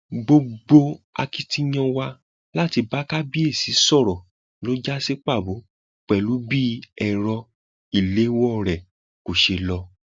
gbogbo akitiyan wa láti bá kábíyèsí sọrọ ló já sí pàbó pẹlú bí ẹrọ ìléwọ rẹ kò ṣe lọ